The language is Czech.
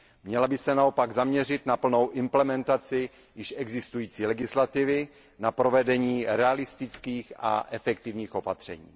Měla by se naopak zaměřit na plnou implementaci již existující legislativy, na provedení realistických a efektivních opatření.